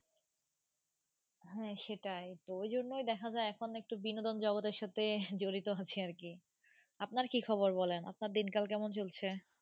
হ্যাঁ, সেটাই তো, ঐ জন্যই দেখা যায় এখন একটু বিনোদন জগতের সাথে জড়িত আছি আর কি। আপনার কি খবর বলেন। আপনার দিনকাল কেমন চলছে?